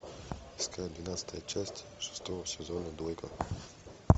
искать двенадцатая часть шестого сезона двойка